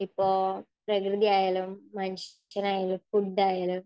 ഇപ്പോ പ്രകൃതി ആയാലും മനുഷ്യൻ ആയാലും ഫുഡ് ആയാലും.